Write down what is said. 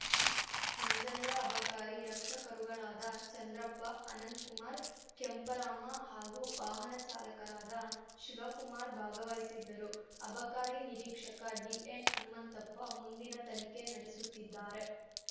ಮಂಜಯ್ಯ ಅಬಕಾರಿ ರಕ್ಷಕರುಗಳಾದ ಚಂದ್ರಪ್ಪ ಅನಂತ್‌ಕುಮಾರ್‌ ಕೆಂಪರಾಮ ಹಾಗೂ ವಾಹನ ಚಾಲಕರಾದ ಶಿವಕುಮಾರ್‌ ಭಾಗವಹಿಸಿದ್ದರು ಅಬಕಾರಿ ನಿರೀಕ್ಷಕ ಡಿಎನ್‌ ಹನುಮಂತಪ್ಪ ಮುಂದಿನ ತನಿಖೆ ನಡೆಸುತ್ತಿದ್ದಾರೆ